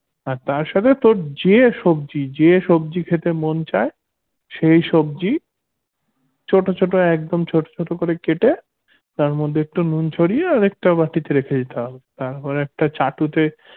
হ্যা তার সাথে তোর যে সবজি যে সবজি খেতে মন চায় সেই সবজি ছোট ছোট একদম ছোট ছোট করে কেটে তার মধ্যে একটু নুন ছড়িয়ে আরেকটা বাটিতে রেখে দিতে হবে তারপর একটা চাটুতে